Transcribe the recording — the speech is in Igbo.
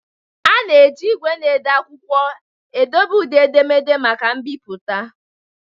A na-eji igwe na-ede akwụkwọ edobe ụdị edemede maka mbipụta.